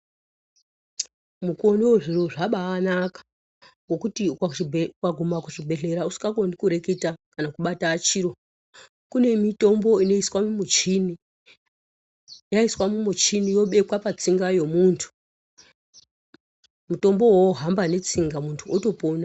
Mukuwo unou zviro zvabainaka ngekuti ukaguma kuchibhehleya usingakoni kureketa kana kubata chiro kune mitombo inoiswa mumichini yaiswa mumichini yobekwa patsinga yemuntu mutombo uwowo wohamba netsinga muntu otopona.